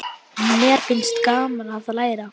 Mér finnst gaman að leira.